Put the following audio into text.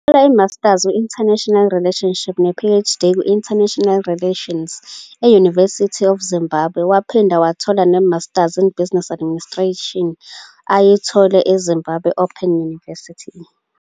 Uthole iMasters kwi-International Relations ne-PhD kwi-International Relations e-University of Zimbabwe, waphinde wathola ne-Masters in Business Administration ayithole e-Zimbabwe Open University